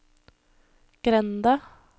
grenda